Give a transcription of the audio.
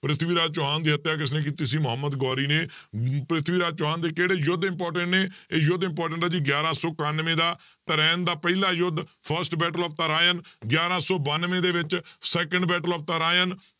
ਪ੍ਰਿਥਵੀ ਰਾਜ ਚੌਹਾਨ ਦੀ ਹੱਤਿਆ ਕਿਸਨੇ ਕੀਤੀ ਸੀ ਮੁਹੰਮਦ ਗੌਰੀ ਨੇ, ਪ੍ਰਿਥਵੀ ਰਾਜ ਚੌਹਾਨ ਦੇ ਕਿਹੜੇ ਯੁੱਧ important ਨੇ ਇਹ ਯੁੱਧ important ਹੈ ਜੀ ਗਿਆਰਾਂ ਸੌ ਇਕਾਨਵੇਂ ਦਾ ਤਰਾਇਣ ਦਾ ਪਹਿਲਾ ਯੁੱਧ first battle of ਤਰਾਇਣ ਗਿਆਰਾਂ ਸੌ ਬਾਨਵੇਂ ਦੇ ਵਿੱਚ second battle of ਤਰਾਇਣ